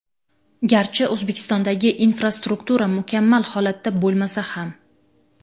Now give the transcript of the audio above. Garchi O‘zbekistondagi infrastruktura mukammal holatda bo‘lmasa ham.